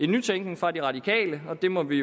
nytænkning fra de radikale og det må vi